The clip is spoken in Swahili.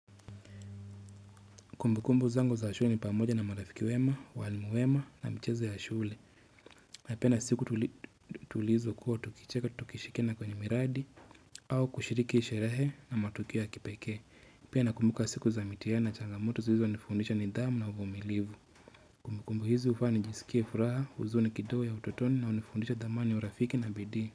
Kumbukumbu zangu za shule ni pamoja na marafiki wema, walimu wema na michezo ya shule. Napenda siku tulizokua tukicheka, tukishirikiana kwenye miradi au kushiriki sherehe na matukio ya kipekee. Pia nakumbuka siku za mitihani na changamoto zilizonifundisha nidhamu na uvumilivu. Kumbukumbu hizi hufanya nijisikie furaha, huzuni kidogo ya utotoni na hunifundisha thamani ya urafiki na bidii.